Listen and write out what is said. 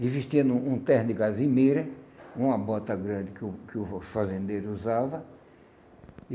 Ele vestia num um terno de gasimeira, uma bota grande que o que o fa fazendeiro usava.